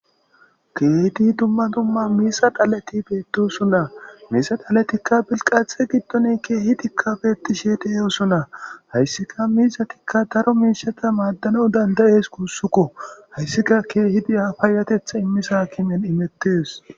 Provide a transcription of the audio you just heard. keehiti dumma dumma miisa dhalati beetosuna miisa dhalatikka bilqaathe giddone keehi dikka betishe deyoosuna hayssika miisatikka daro miishata maaddano dandayees kuussukko hayssika keehi diya fayatetha immisakimen imettes